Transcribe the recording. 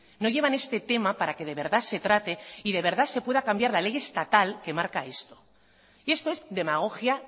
no llevan este tema para que de verdad se trate y de verdad se pueda cambiar la ley estatal que marca esto y esto es demagogia